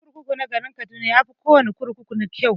Kurkuku na garin kaduna yafi kawana kurkuku kyau.